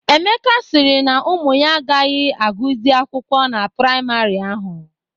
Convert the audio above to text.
Emeka sịrị na ụmụ ya agaghị agụzi akwụkwọ na priamarị ahụ.